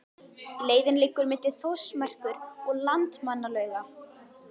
Leiðin liggur milli Þórsmerkur og Landmannalauga.